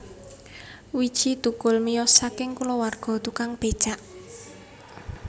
Widji Thukul miyos saking kulawarga tukang becak